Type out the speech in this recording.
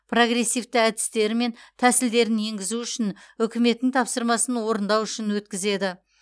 прогрессивті әдістері мен тәсілдерін енгізу үшін үкіметтің тапсырмасын орындау үшін өткізеді